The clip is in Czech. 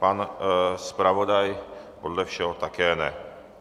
Pan zpravodaj podle všeho také ne.